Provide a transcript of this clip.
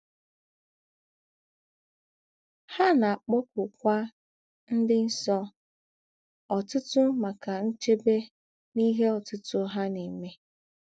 Há na - àkpọ̀kụ̀kwà “ ńdị nsọ ” ọ̀tụ̀tụ̀ màkà nchèbè n’ìhè ọ̀tụ̀tụ̀ hà na - èmè.